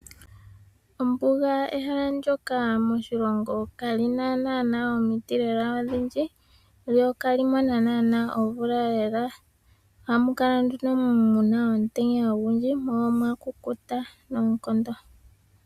Ombuga ehala ndoka moshilongo kalina naana lela omiti odhindji lyo ihali mono naana omvula lela. Ohamu kala nduno muna omutenya ogundji mo omwakukuta noonkondo.